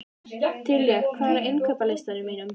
Diljar, hvað er á innkaupalistanum mínum?